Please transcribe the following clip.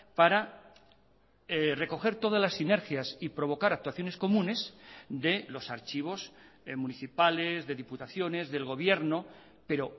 para recoger todas las sinergias y provocar actuaciones comunes de los archivos municipales de diputaciones del gobierno pero